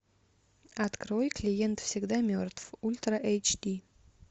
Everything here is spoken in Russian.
открой клиент всегда мертв ультра эйч ди